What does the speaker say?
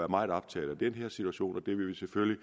meget optaget af den her situation og det vil vi selvfølgelig